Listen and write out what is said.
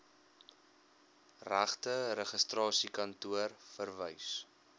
regte registrasiekantoor verwys